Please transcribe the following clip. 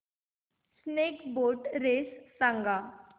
snake boat race सांग